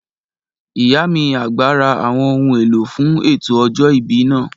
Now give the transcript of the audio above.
Ìyá mi àgbà ra àwọn ohun èlò fún ètò ọjọ́ ìbí náà